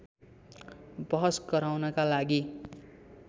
बहस गराउनका लागि